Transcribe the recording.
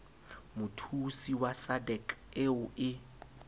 mothusi wa sadc eo e